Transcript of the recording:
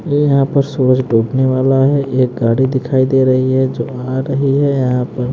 ये यहां पर सूरज डूबने वाला है एक गाड़ी दिखाई दे रही है जो आ रही है यहां पर --